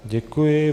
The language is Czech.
Děkuji.